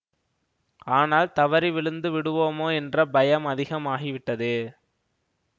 ஆனால் தவறி விழுந்து விடுவோமோ என்ற பயம் அதிகம் ஆகிவிட்டது